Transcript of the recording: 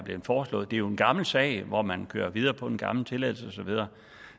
foreslået det er jo en gammel sag hvor man kører videre på en gammel tilladelse og så videre